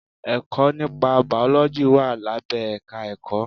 Ẹ̀kọ́ nípa bàọ́lọ́jì wà lábẹ́ èka Ẹ̀kọ́.